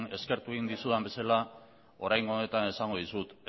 eskertu egin dizudan bezala oraingo honetan esango dizut